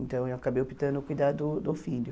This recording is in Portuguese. Então eu acabei optando por cuidar do do filho.